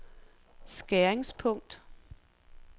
skæringspunkt